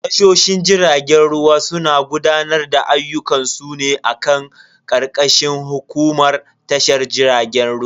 Tashoshin jiragen ruwa suna gudanar da ayyukan su ne a karkashin hukumar tashar jiragen ruwa.